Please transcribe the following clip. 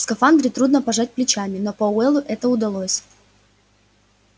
в скафандре трудно пожать плечами но пауэллу это удалось